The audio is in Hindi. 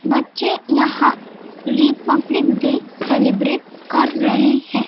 बच्चे यहां रिपब्लिक डे सेलीब्रेट कर रहे हैं।